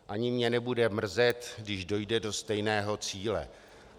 Ani mě nebude mrzet, když dojde do stejného cíle.